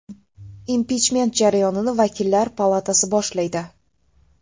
Impichment jarayonini vakillar palatasi boshlaydi.